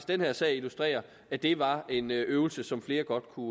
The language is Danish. den her sag illustrerer at det var en øvelse som flere godt kunne